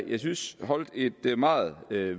jeg synes holdt et meget